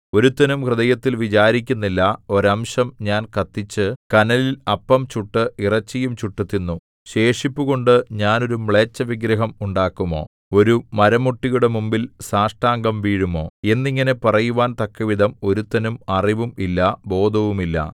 ഒരുത്തനും ഹൃദയത്തിൽ വിചാരിക്കുന്നില്ല ഒരംശം ഞാൻ കത്തിച്ചു കനലിൽ അപ്പം ചുട്ട് ഇറച്ചിയും ചുട്ടു തിന്നു ശേഷിപ്പുകൊണ്ടു ഞാൻ ഒരു മ്ലേച്ഛവിഗ്രഹം ഉണ്ടാക്കുമോ ഒരു മരമുട്ടിയുടെ മുമ്പിൽ സാഷ്ടാംഗം വീഴുമോ എന്നിങ്ങനെ പറയുവാൻ തക്കവിധം ഒരുത്തനും അറിവും ഇല്ല ബോധവുമില്ല